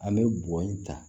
An bɛ bɔ in ta